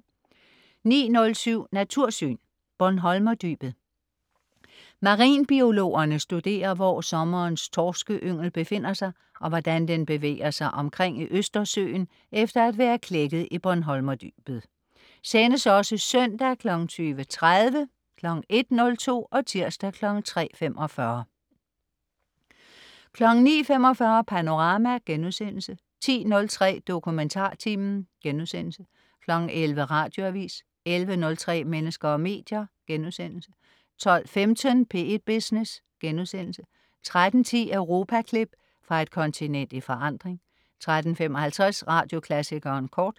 09.07 Natursyn. Bornholmerdybet. Marinbiologerne studerer, hvor sommerens torskeyngel befinder sig, og hvordan den bevæger sig omkring i Østersøen efter at være klækket i Bornholmerdybet. (Sendes også søndag 20.30, 1.02 og tirsdag 3.45) 09.45 Panorama* 10.03 DokumentarTimen* 11.00 Radioavis 11.03 Mennesker og medier* 12.15 P1 Business* 13.10 Europaklip. Fra et kontinent i forandring 13.55 Radioklassikeren kort